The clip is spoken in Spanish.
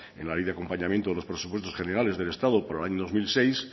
en la ley de acompañamiento de los presupuestos generales del estado para el año dos mil seis